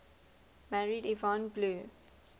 married yvonne blue